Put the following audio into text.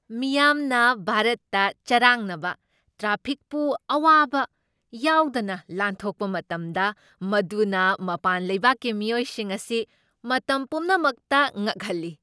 ꯃꯤꯌꯥꯝꯅ ꯚꯥꯔꯠꯇ ꯆꯔꯥꯡꯅꯕ ꯇ꯭ꯔꯥꯐꯤꯛꯄꯨ ꯑꯋꯥꯕ ꯌꯥꯎꯗꯅ ꯂꯥꯟꯊꯣꯛꯞ ꯃꯇꯝꯗ ꯃꯗꯨꯅ ꯃꯄꯥꯟ ꯂꯩꯕꯥꯛꯀꯤ ꯃꯤꯑꯣꯏꯁꯤꯡ ꯑꯁꯤ ꯃꯇꯝ ꯄꯨꯝꯅꯃꯛꯇ ꯉꯛꯍꯜꯂꯤ꯫